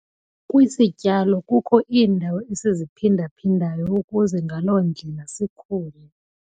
Kwisityalo kukho iindawo esiziphinda-phindayo ukuze ngaloo ndlela sikhule.